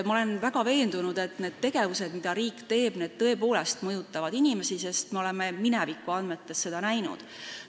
Ma olen veendunud, et see, mida riik teeb, tõepoolest mõjutab inimesi, sest me oleme minevikuandmete põhjal seda näinud.